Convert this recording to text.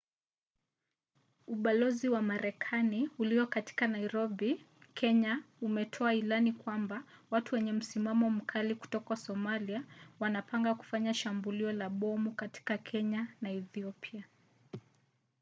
ubalozi wa marekani ulio katika nairobi kenya umetoa ilani kwamba watu wenye msimamo mkali kutoka somalia wanapanga kufanya shambulio la bomu katika kenya na ethiopia